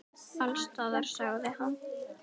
Alls staðar, sagði hann.